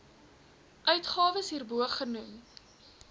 uitgawes hierbo genoem